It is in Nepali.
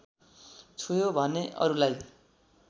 छोयो भने अरुलाई